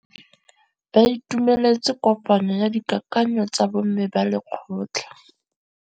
Ba itumeletse kôpanyo ya dikakanyô tsa bo mme ba lekgotla.